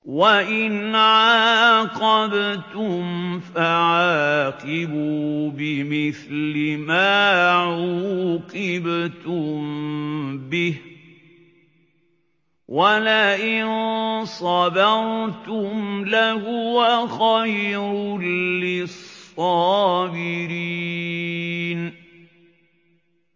وَإِنْ عَاقَبْتُمْ فَعَاقِبُوا بِمِثْلِ مَا عُوقِبْتُم بِهِ ۖ وَلَئِن صَبَرْتُمْ لَهُوَ خَيْرٌ لِّلصَّابِرِينَ